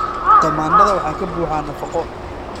Tamaandhada waxaa ka buuxa nafaqo.